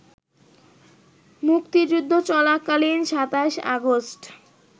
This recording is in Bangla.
মুক্তিযুদ্ধ চলাকালীন ২৭ আগস্ট